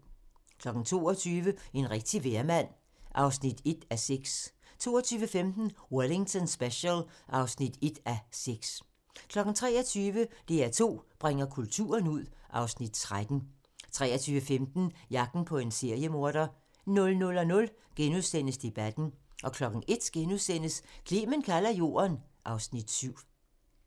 22:00: En rigtig vejrmand (1:6) 22:15: Wellington Special (1:6) 23:00: DR2 bringer kulturen ud (Afs. 13) 23:15: Jagten på en seriemorder 00:00: Debatten * 01:00: Clement kalder jorden (Afs. 7)*